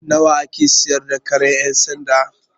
Nawa a ke siyar da karen ƴan sanda?